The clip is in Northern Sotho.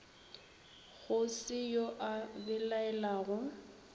go se yo a belaelago